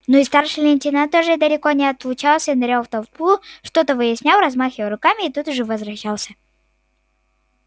но и старший лейтенант тоже далеко не отлучался нырял в толпу что-то выяснял размахивая руками и тут же возвращался